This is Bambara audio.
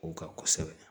O ka kosɛbɛ